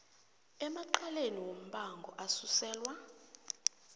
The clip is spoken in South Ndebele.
emacaleni wombango asuselwa